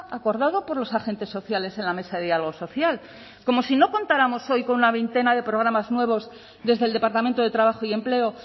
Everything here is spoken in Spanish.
acordado por los agentes sociales en la mesa de diálogo social como si no contáramos hoy con una veintena de programas nuevos desde el departamento de trabajo y empleo